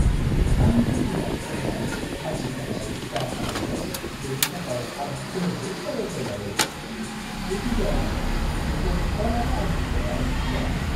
आंनि बिमा-बिफाया आंनि थाखाय जा खालामदों बेनि थाखाय आं जोबोद साबायखर बावो। जेखि जाया मानो, बिसोर अराय आंनि थाखाय दं।